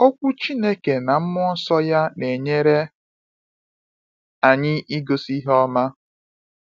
Okwu Chineke na Mmụọ Nsọ ya na-enyere anyị igosi ihe ọma.